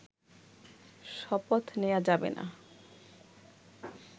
শপথ নেয়া যাবে না